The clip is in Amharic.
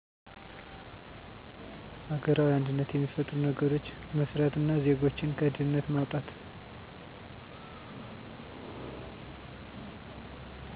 አገራዊ አንድነት የሚፈጥሩ ነገሮች መስራት እና ዜጎችን ከድህነት ማዉጣት